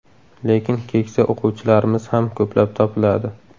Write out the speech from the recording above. Lekin keksa o‘quvchilarmiz ham ko‘plab topiladi.